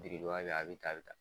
Piriduwa be a bi ta a bi ta